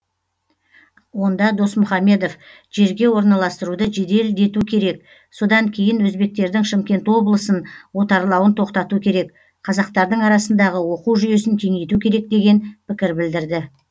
онда досмұхамедов жерге орналастыруды жеделдету керек содан кейін өзбектердің шымкент облысын отарлауын тоқтату керек қазақтардың арасындағы оқу жүйесін кеңейту керек деген пікір білдірді